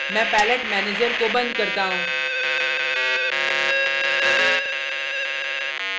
मैं palette manager को बंद करता हूँ